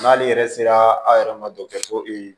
N'ale yɛrɛ sera a yɛrɛ ma e